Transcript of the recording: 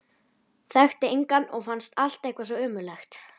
Þekkti engan og fannst allt eitthvað svo ömurlegt.